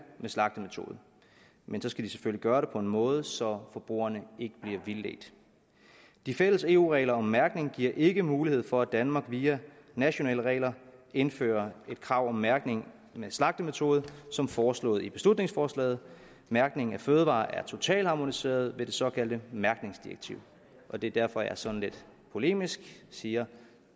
om slagtemetode men så skal de selvfølgelig gøre det på en måde så forbrugerne ikke bliver vildledt de fælles eu regler om mærkning giver ikke mulighed for at danmark via nationale regler indfører et krav om mærkning om slagtemetode som foreslået i beslutningsforslaget mærkning af fødevarer er totalharmoniseret ved det såkaldte mærkningsdirektiv det er derfor at jeg sådan lidt polemisk siger